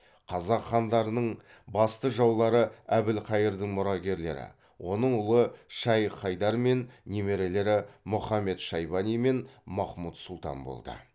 қазақ хандарының басты жаулары әбілхайырдың мұрагерлері оның ұлы шайх хайдар мен немерелері мұхамед шайбани мен махмұд сұлтан болды